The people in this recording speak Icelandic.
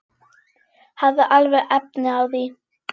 Hafði alveg efni á því.